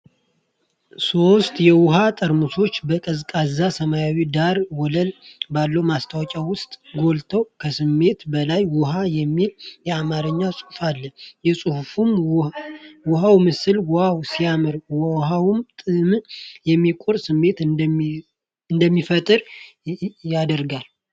ሦስት የውሃ ጠርሙሶች በቀዝቃዛ ሰማያዊ ዳራ ወለል ባለው ማስታወቂያ ውስጥ ጎልተው 'ከስሜት በላይ ውሃ!' የሚል የአማርኛ ጽሑፍ አለ። የንጹህ ውሃው ምስል 'ዋው ሲያምር' ። ውኃው ጥምን የመቁረጥ ስሜት እንዲፈጠር ያደርጋል።